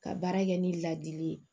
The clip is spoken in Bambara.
Ka baara kɛ ni ladili ye